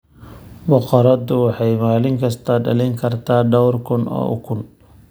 Boqoradu waxay maalin kasta dhalin kartaa dhawr kun oo ukun.